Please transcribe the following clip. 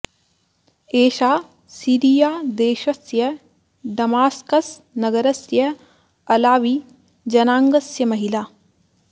एषा सिरिया देशस्य डमास्कस् नगरस्य अलावि जनाङ्गस्य महिला